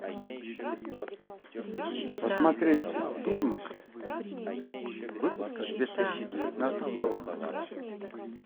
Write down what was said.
посмотреть фильмы выпуска две тысячи девятнадцатого года